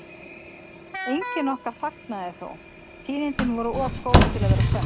Enginn okkar fagnaði þó, tíðindin voru of góð til að vera sönn.